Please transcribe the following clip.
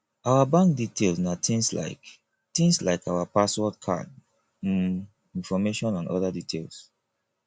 our bank details na things like things like our password card um information and oda details